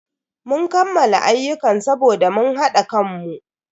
Mun kammala ayyukan saboda mun hada kanmu.